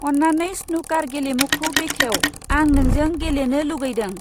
अन्नानै स्नुकार गेलेमुखौ बेखेव आं नोंजों गेलेनो लुगैदों।